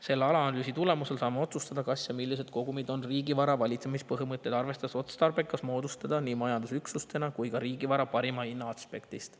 Selle analüüsi tulemusel saame otsustada, millised kogumid on riigivara valitsemise põhimõtteid arvestades otstarbekas majandusüksustena moodustada, ka riigivara parima hinna aspektist.